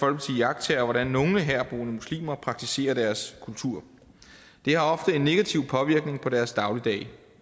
iagttager hvordan nogle herboende muslimer praktiserer deres kultur det har ofte en negativ påvirkning på deres dagligdag